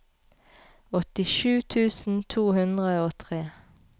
åttisju tusen to hundre og tre